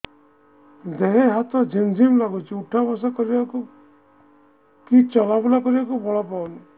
ଦେହେ ହାତ ଝିମ୍ ଝିମ୍ ଲାଗୁଚି ଉଠା ବସା କରିବାକୁ କି ଚଲା ବୁଲା କରିବାକୁ ବଳ ପାଉନି